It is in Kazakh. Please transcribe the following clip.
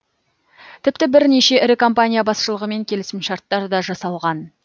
тіпті бірнеше ірі компания басшылығымен келісімшарттар да жасалған